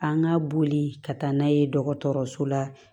An ka boli ka taa n'a ye dɔgɔtɔrɔso la